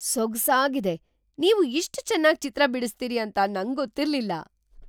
ಸೊಗ್ಸಾಗಿದೆ! ನೀವು ಇಷ್ಟ್ ಚೆನ್ನಾಗ್ ಚಿತ್ರ ಬಿಡಿಸ್ತೀರಿ ಅಂತ ನಂಗೊತ್ತಿರ್ಲಿಲ್ಲ!